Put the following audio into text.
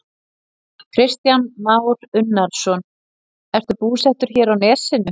Kristján Már Unnarsson: Ertu búsettur hér á Nesinu?